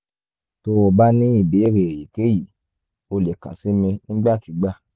tó o bá ní ìbéèrè èyíkéyìí o lè kàn sí mi nígbàkigbà